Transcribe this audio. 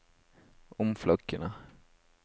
omflakkende